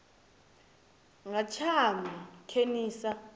nga tshaṅu khe ni sa